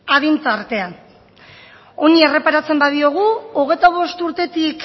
adin tartea honi erreparatzen badiogu hogeita bost urtetik